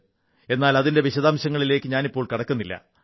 എന്നാൽ അതിന്റെ വിശദാംശങ്ങളിലേക്ക് ഞാനിപ്പോൾ കടക്കുന്നില്ല